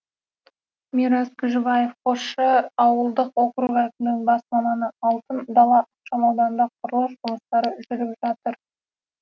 мирас күжібаев қосшы ауылдық округі әкімдігінің бас маманы алтын дала ықшамауданында құрылыс жұмыстары жүріп жатыр